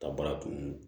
Ka baara kun